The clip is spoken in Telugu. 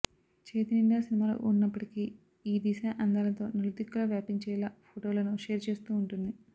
చేతినిండా సినిమాలు ఉన్నప్పటికీ ఈ దిశా అందాలతో నలుదిక్కులా వ్యాపించేలా ఫొటోలను షేర్ చేస్తూ ఉంటుంది